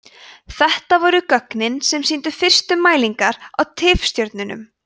þetta voru gögnin sem sýndu fyrstu mælingar á tifstjörnum